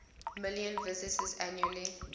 million visitors annually